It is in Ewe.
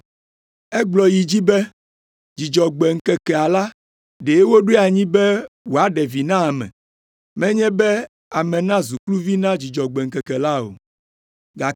Egblɔ yi edzi be, “Dzudzɔgbe ŋkekea la, ɖe woɖoe anyi be wòaɖe vi na ame, menye be ame nazu kluvi na Dzudzɔgbe ŋkeke la o.